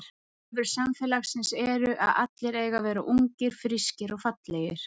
Kröfur samfélagsins eru að allir eigi að vera ungir, frískir og fallegir.